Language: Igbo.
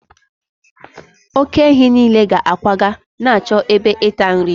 oke-ehi nile ga-akwaga na-achọ ebe ịta nri